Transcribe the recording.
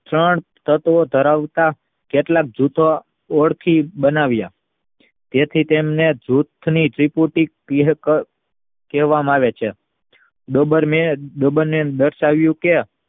પણ તત્વ ધરાવતા કેટલાક જૂથો ઓળખી બાવાવ્યા તેથી તેમને જૂથની ટીપુટી કહેવામાં આવે છે દર્શાવ્યું કે